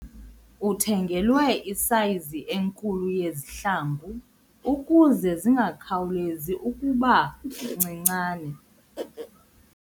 Uthengelwe isayizi enkulu yezihlangu ukuze zingakhawulezi ukuba ncinane.